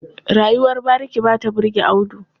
Rayuwar bariki ba ta burge Audu.